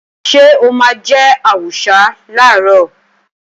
Ṣé o máa jẹ àwùsá làárọ̀?